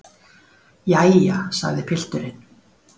Jæja, sagði pilturinn.